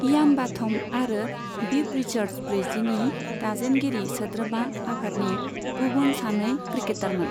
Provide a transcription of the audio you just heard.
Ian Botham आरो Viv Richards ब्रैजिनि दाजेनगिरि सोद्रोमा आफादनि गुबुन सानै क्रिकेटारमोन।